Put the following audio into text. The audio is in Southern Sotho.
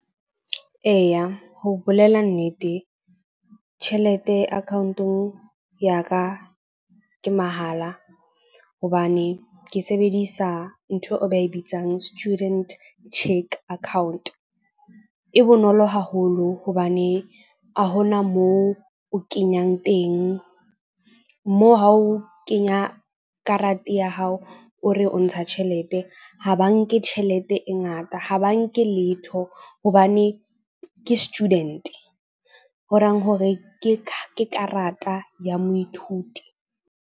Eya, ho bolela nnete, tjhelete account-ong ya ka ke mahala hobane ke sebedisa ntho eo ba e bitsang student cheque account. E bonolo haholo hobane a ho na moo o kenyang teng moo, ha o kenya karate ya hao, o re o ntsha tjhelete. Ha ba nke tjhelete e ngata, ha ba nke letho hobane ke student-e horang hore ke karata ya moithuti.